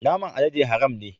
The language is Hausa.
Naman alade haram ne.